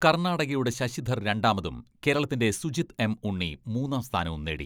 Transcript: കർണാടകയുടെ ശശിധർ രണ്ടാമതും കേരളത്തിന്റെ സുജിത്.എം.ഉണ്ണി മൂന്നാം സ്ഥാനവും നേടി.